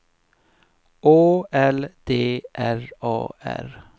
Å L D R A R